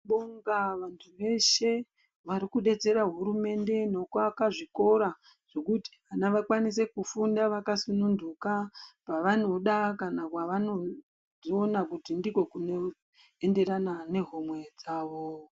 .Tibonga vantu veshe varikudetsera hurumende nokuaka zvikora zvokuti vana vakwanise kufunda vakasununduka kwavanoda kana kwavanoona kuti ndiko kunoenderana nehomwe dzavo.